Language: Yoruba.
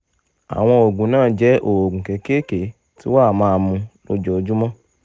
àwọn oògùn náà jẹ́ oògùn kéékèèké tí wàá máa mu lójoojúmọ́